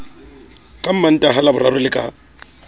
ka mantaha laboraro le ka